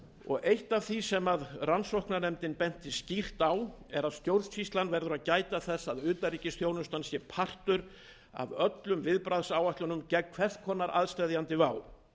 og eitt af því sem rannsóknarnefndin benti skýrt á er að stjórnsýslan verður að gæta þess að utanríkisþjónustan sé partur af öllum viðbragðsáætlunum gegn hvers konar aðsteðjandi vá